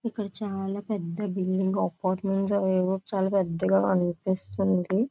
ఇక్కడ చాలా పెద్ద బిల్డింగు అపార్ట్మెంట్స్ అవేవో చాలా పెద్ద బిల్డింగ్స్ లాగా కనిపిస్తున్నాయి.